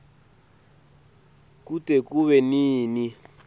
kute kube nini